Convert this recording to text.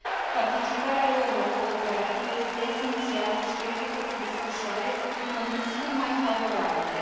Participarea lor la cooperative este esențială și trebuie să se desfășoare în condiții cât mai favorabile.